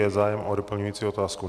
Je zájem o doplňující otázku?